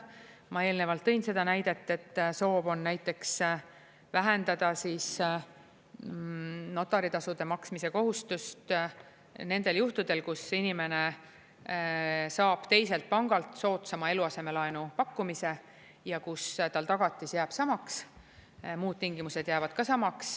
Ma eelnevalt tõin seda näidet, et soov on näiteks vähendada notaritasude maksmise kohustust nendel juhtudel, kus inimene saab teiselt pangalt soodsama eluasemelaenu pakkumise ja kus tal tagatis jääb samaks, muud tingimused jäävad ka samaks.